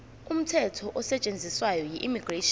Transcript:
umthetho osetshenziswayo immigration